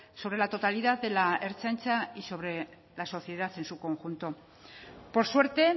sobre la totalidad de la ertzaintza y sobre la sociedad en su conjunto por suerte